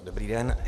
Dobrý den.